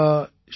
शान्ति शान्ति